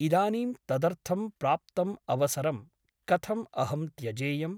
इदानीं तदर्थं प्राप्तम् अवसरं कथम् अहं त्यजेयम् ?